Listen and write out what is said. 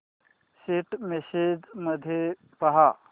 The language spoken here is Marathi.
सेंट मेसेजेस मध्ये पहा